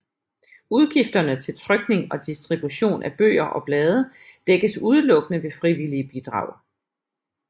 Udgifterne til trykning og distribution af bøger og blade dækkes udelukkende ved frivillige bidrag